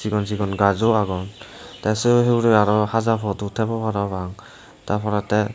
cigon cigon gajo agon te se hurey arow haja podow tebo parapang tar porey te.